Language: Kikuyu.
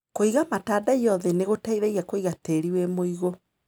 Kũiga matandaiyo thĩ nĩgũteithagia kũiga tĩri wĩ mũigũ.